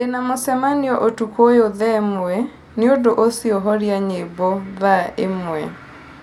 ndĩ na mũcemanio ũtukũ ũyũ thaa ĩmwe, nĩ ũndũ ũcio horia nyĩmbo ithaa ĩmwe